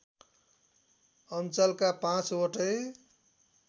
अञ्चलका पाँचवटै